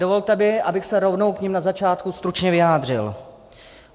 Dovolte mi, abych se rovnou k nim na začátku stručně vyjádřil.